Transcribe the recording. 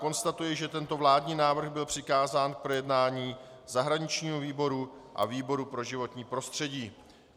Konstatuji, že tento vládní návrh byl přikázán k projednání zahraničnímu výboru a výboru pro životní prostředí.